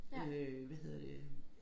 Øh hvad hedder det øh